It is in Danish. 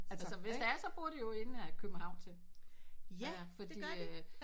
Altså hvis der er så bor de jo inde i København til ja fordi øh